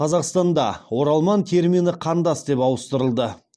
қазақстанда оралман термині қандас деп ауыстырылды